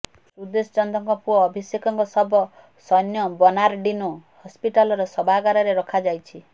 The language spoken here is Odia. ସୁଦେଶ ଚନ୍ଦଙ୍କ ପୁଅ ଅଭିଷେକଙ୍କ ଶବ ସୈନ୍ୟ ବର୍ନାରଡିନୋ ହସ୍ପିଟାଲର ଶବାଗାରରେ ରଖାଯାଇଛି